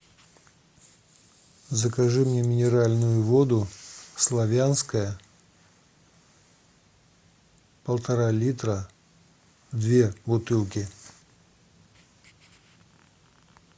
закажи мне минеральную воду славянская полтора литра две бутылки